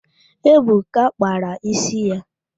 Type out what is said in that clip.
Ebuka kpara ísí ya